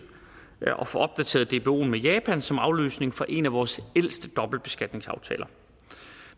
at få opdateret dboen med japan som afløsning for en af vores ældste dobbeltbeskatningsaftaler